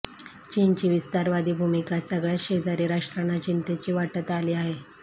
चीनची विस्तारवादी भूमिका सगळ्याच शेजारी राष्ट्रांना चिंतेची वाटत आली आहे